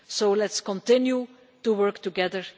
So let us continue to work together.